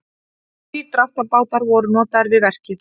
Þrír dráttarbátar voru notaðir við verkið